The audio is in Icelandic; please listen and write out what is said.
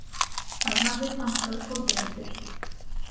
Hann hafði pantað kótilettur.